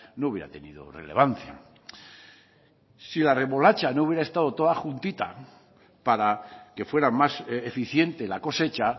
no hubiera tenido relevancia si la remolacha no hubiera estado toda juntita para que fuera más eficiente la cosecha